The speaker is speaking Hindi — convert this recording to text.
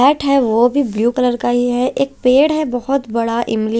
वो भी ब्लू कलर का ही है एक पेड़ है बहुत बड़ा इमली--